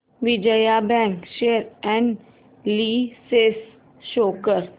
Vijaya bank share analysis show कर